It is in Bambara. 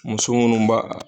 Muso munnu b'a.